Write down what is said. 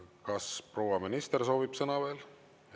Kas proua minister soovib sõna veel?